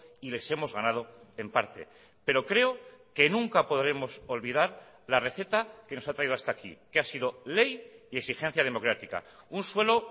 y les hemos ganado en parte pero creo que nunca podremos olvidar la receta que nos ha traído hasta aquí que ha sido ley y exigencia democrática un suelo